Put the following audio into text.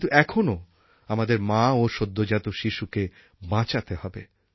কিন্তু এখনও আমাদের মা ও সদ্যোজাত শিশুকে বাঁচাতে হবে